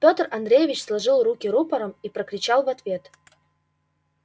пётр андреевич сложил руки рупором и прокричал в ответ